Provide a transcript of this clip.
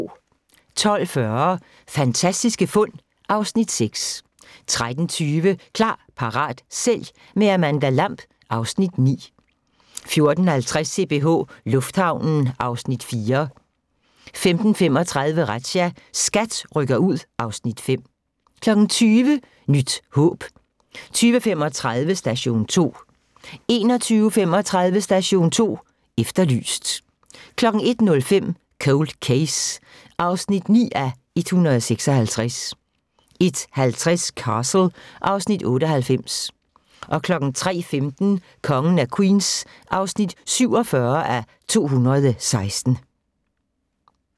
12:40: Fantastiske fund (Afs. 6) 13:20: Klar, parat, sælg – med Amanda Lamb (Afs. 9) 14:50: CPH Lufthavnen (Afs. 4) 15:35: Razzia – SKAT rykker ud (Afs. 5) 20:00: Nyt håb 20:35: Station 2 21:35: Station 2 Efterlyst 01:05: Cold Case (9:156) 01:50: Castle (Afs. 98) 03:15: Kongen af Queens (47:216)